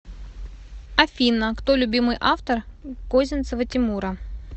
афина кто любимый автор козинцева тимура